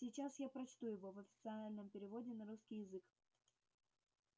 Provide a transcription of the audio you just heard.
сейчас я прочту его в официальном переводе на русский язык